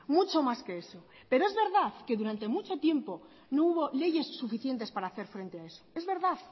mucho más que eso pero es verdad que durante mucho tiempo no hubo leyes suficientes para hacer frente a eso